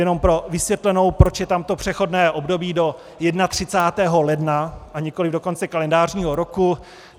Jenom pro vysvětlenou, proč je tam to přechodné období do 31. ledna, a nikoliv do konce kalendářního roku.